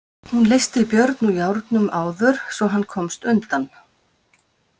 Hún leysti Björn úr járnum áður svo hann komst undan.